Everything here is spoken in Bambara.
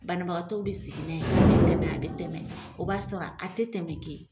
Banabagatɔw bɛ sigi tɛ mɛ a bɛ tɛmɛ o b'a sɔrɔ a tɛ tɛmɛ.